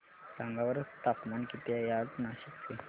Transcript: सांगा बरं तापमान किती आहे आज नाशिक चे